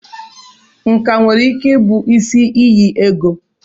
Nkà nwere ike ịbụ isi iyi ego.